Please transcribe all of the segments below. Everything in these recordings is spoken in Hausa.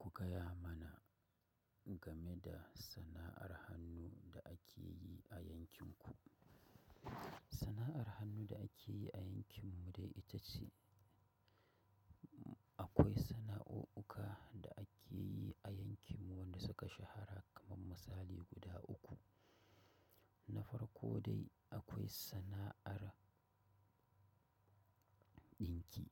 Ku gaya mana game da sana'ar hannu da ake yi a yankinku. San'ar hannu da ake ye a yankin mu wanda suka shahara kaman musali guda uku nafar ko dai akwai sana'ar ɗinki.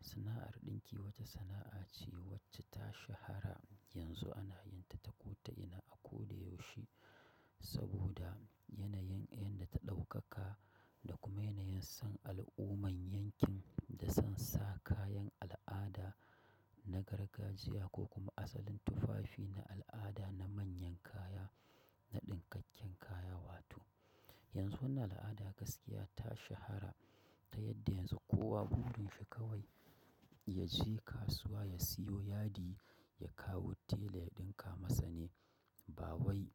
Sana'ar ɗinki wata sana'a ce wacce ta shahara yanzu ana yin ta ta kota ina a ko da yaushe saboda yanayin inda ta ɗaukaka da kuma yanayin son al'umman yankin da son sa kayan al'ada na gargajiya ko kuma asalin tufafi na al'ada na mayan kaya na dinkakin kaya wato yanzu wannan al'ada gaskiya ta shahara ta yadda yanzu kowa burin shi kawai ya ya je kasuwa ya siyo yadi ya kawo tela ya ɗinka masa ne. Ba wai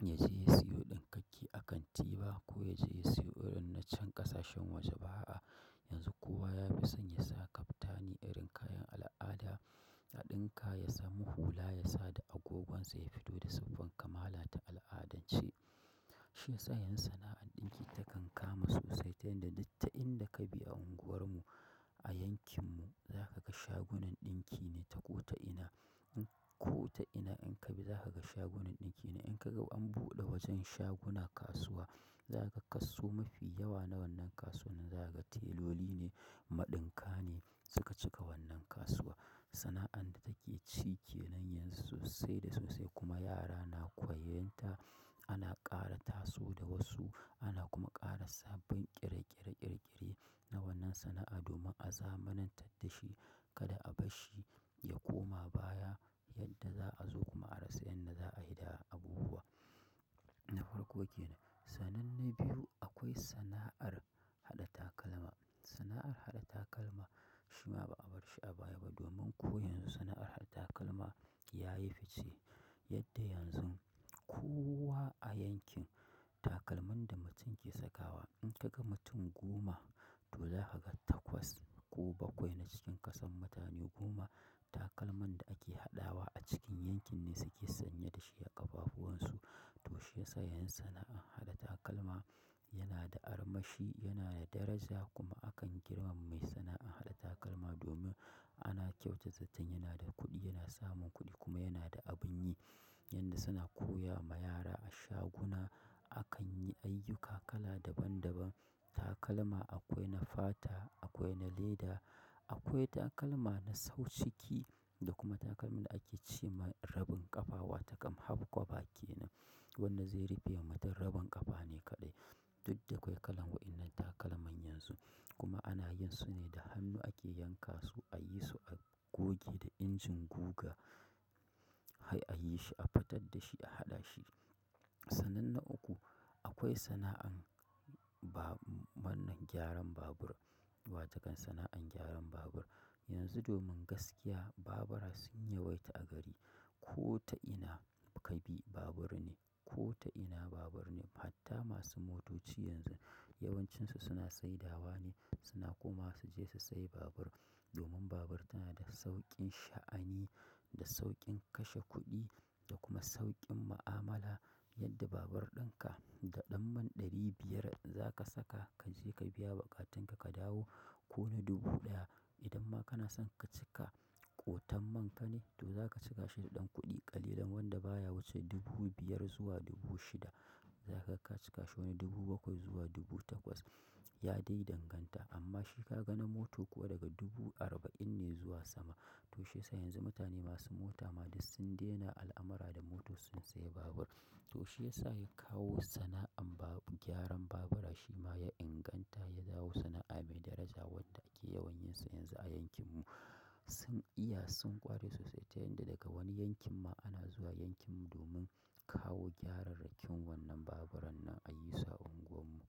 ya je ya siyo ɗinkakke a kanti ba ko ya je ya siyo irin na can ƙasashen waje ba a. Yanzu kowa ya fi son ya sa kaftani irin kayan al'ada a ɗinka, ya samu hula ya sa da agogonsa ya fito da siffan kamala ta al'adance. Shi ya sa yanzu sana'ar ɗinki takan kama sosai ta yadda duk ta inda ka bi a unguwarmu a yankinmu, za ka ga shagunan ɗinki ne ta kota ina. In kota ina in ka bi za ka ga shagunan ɗinki ne. In ka ga an buɗe wajen shaguna kasuwa, za ka ga kaso mafi yawa na wannan kasuwan nan za ka ga teloli ne, maɗinkane suka cika wannan kasuwa. Sana'ar da take cike nan yanzu sai da sosai kuma yara na koyan ta, ana ƙara taso da wasu, ana kuma ƙara sabbin ƙereƙere ƙirƙire na wannan sana'a domin a zamanin taddashi kada albashi ya koma baya yadda za azo kuma a rasa yadda za aye da abubuwa na farko ke nan. Sanan na biyu akwai sana'ar haɗa takalma. Sana'ar haɗa takalma shi ma ba a bar shi a baya ba domin ko yanzu sana'ar haɗa takalma ya yi fitce yadda yanzu kowa a yankin takalman da mutum ke sakawa, in ka ga mutum goma to za ka ga takwas ko bakwai na cikin kasan mutane goma takalman da ake haɗawa a cikin yankin ne suke sanye da shi a ƙafafuwan su. To shi ya sa yanzu sana'an haɗa takalma yana da armashi, yana da daraja kuma akan girmama mai sana'an haɗa takalma domin ana kyautata zatan yana da kuɗi, yana samun kuɗi kuma yana da abin yi. Yadda suna koya ma yara a shaguna akan yi ayyuka kala daban daban takalma akwai na fata, akwai na leda, akwai takalma na sauciki da kuma takalmin da ake ce ma rabin ƙafa wa takam haf kwaba ke nan. Wannan zai rufe wa mutum rabon ƙafa ne kaɗai. Duk da kwai kalan takalman nan yanzu kuma ana yin sune da hannu ake yanka su aye su agoge da engine guga har aye shi afitar da shi a haɗa shi sanan na uku akwai sana'an ba wannan gyaran babur watakan sana'an gyaran babur. Yanzu domin gaskiya babura sun yawaita a gari. Kota ina ka bi babur ne, kota ina babur ne. Hatta masu motoci yanzu yawancinsu suna sai dawa ne. Suna komawa su je su sayi babur domin babur tana da sauƙin sha'ani, da sauƙin kashe kuɗi da kuma sauƙin ma'amala yadda babur ɗinka da ɗan man ɗari biyar za ka saka ka je ka biya baƙatinka ka dawo ko na dubu ɗaya idan ma kana son ka cika kotan man ka ne to zaka cika shi da dan kuɗi kalilan wanda baya wuce dubu biyar zuwa dubu shida zakaga ka cika shi wane dubu bakwai zuwa dubu takwas ya dai danganta amma shi kaga na moto daga dubu arba'in ne zuwa sama to shi ya sa yanzu mutane masu mota ma dai sun daina al'amara da mota sun sayi babur. To shi ya sa ya kawo sana'an babu gyaran babura shi ma ya inganta ya zawo sana'a mai daraja wadda ake yawanyinsa yanzu a yankinmu. Sun iya sun ƙware sosai ta yadda daga wani yankin ma ana zuwa yankinmu domin kawo gyararrakin wannan baburan nan a yi su a unguwarmu.